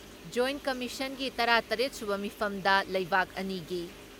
ꯖꯣꯏꯠ ꯀꯝꯃꯤꯁꯟꯒꯤ ꯇꯔꯥ ꯇꯔꯦꯠ ꯁꯨꯕ ꯃꯤꯐꯝꯗ ꯂꯩꯕꯥꯛ ꯑꯅꯤꯒꯤ